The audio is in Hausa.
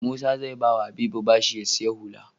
Musa ze bawa habibu bashi ya siya hula